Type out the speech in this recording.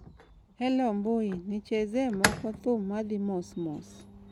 hello mbui nichezee moko thum ma dhi mos mos